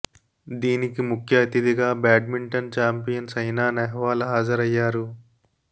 దీనికి ముఖ్య అతిథిగా badminton champion Saina Nehwal హాజరయ్యారు